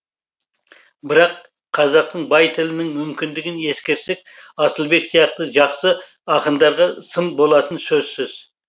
бірақ қазақтың бай тілінің мүмкіндігін ескерсек асылбек сияқты жақсы ақындарға сын болатыны сөзсіз